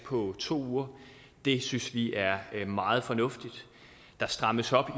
på to uger det synes vi er meget fornuftigt der strammes op